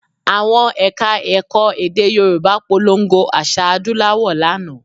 Àwọn Ẹ̀ka-ẹ̀kọ́ èdè Yorùbá polongo àṣà adúláwò lánàá